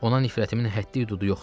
Ona nifrətimin həddi-hüdudu yoxdur.